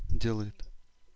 делает